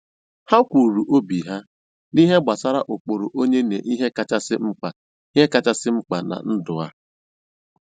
Ha kwuru obi ha n'ihe gbasara ụkpụrụ onye na ihe kachasị mkpa ihe kachasị mkpa na ndụ a.